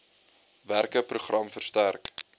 werke program versterk